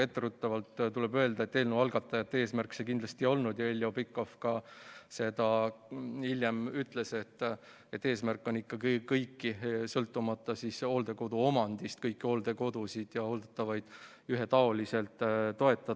Etteruttavalt tuleb öelda, et eelnõu algatajate eesmärk see kindlasti ei olnud ja Heljo Pikhof hiljem ka ütles, et eesmärk on ikkagi sõltumata omandist kõiki hooldekodusid ja hooldatavaid ühetaoliselt toetada.